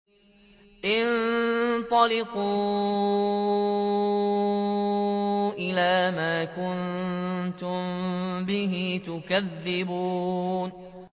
انطَلِقُوا إِلَىٰ مَا كُنتُم بِهِ تُكَذِّبُونَ